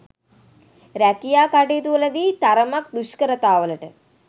රැකියා කටයුතුවලදී තරමක් දුෂ්කරතාවලට